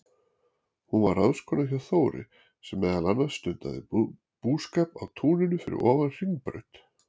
Hún var ráðskona hjá Þóri, sem meðal annars stundaði búskap á túninu fyrir ofan Hringbraut.